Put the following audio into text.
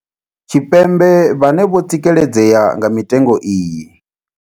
Tshipembe vhane vho tsikeledzea nga mitengo iyi.